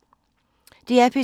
DR P2